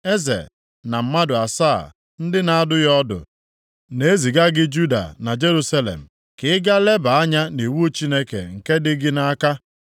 Eze na mmadụ asaa ndị na-adụ ya ọdụ na-eziga gị Juda na Jerusalem ka ị gaa leba anya nʼiwu Chineke nke dị gị nʼaka.